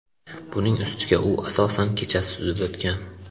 Buning ustiga u asosan kechasi suzib o‘tgan.